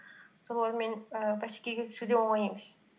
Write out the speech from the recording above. солармен ііі бәсекеге түсу де оңай емес